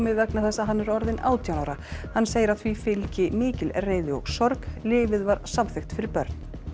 vegna þess að hann er orðinn átján ára hann segir að því fylgi mikil reiði og sorg lyfið var samþykkt fyrir börn